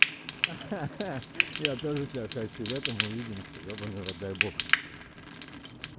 ха-ха-ха я тоже тебя хочу летом увидимся ёбаный в рот дай бог